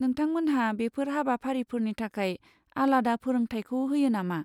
नोंथांमोनहा बेफोर हाबाफारिफोरनि थाखाय आलादा फोरोंथायखौ होयो नामा?